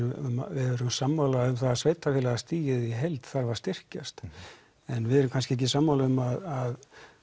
við erum sammála um það að sveitarfélagastigið í heild þarf að styrkjast en við erum kannski ekki sammála um að